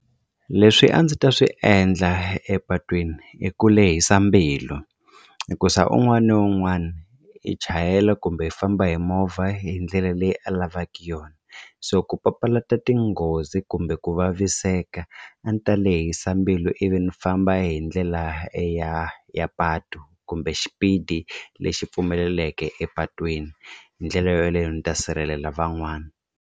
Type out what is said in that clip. Leswi a ndzi ta swi endla epatwini i ku lehisa mbilu hikuza un'wana na un'wana i chayela kumbe i famba hi movha hi ndlela leyi a lavaka yona so ku papalata tinghozi hosi kumbe ku vaviseka a ndzi ta lehisa mbilu ivi ni famba hi ndlela ya ya patu kumbe xipidi lexi pfumeleleke epatwini hi ndlela yaleyo ni ta sirhelela van'wana.